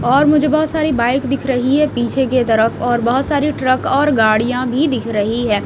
और मुझे बहोत सारी बाइक दिख रही है पीछे के तरफ और बहोत सारी ट्रक और गाड़ियां भी दिख रही हैं।